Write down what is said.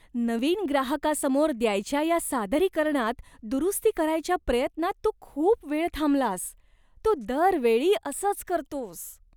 नवीन ग्राहकासमोर द्यायच्या या सादरीकरणात दुरुस्ती करायच्या प्रयत्नात तू खूप वेळ थांबलास. तू दरवेळी असंच करतोस.